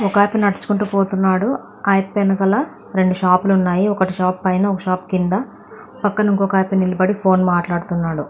ఒక అతను నడుచుకుంటూ పోతున్నాడు. అతని వెనకాల రెండు షాపులు ఉన్నాయి. ఒక షాపు పైన ఒక షాపు కింద పక్కన ఇంకో అతను నిలబడి ఫోన్ మాట్లాడుతూ ఉన్నాడు.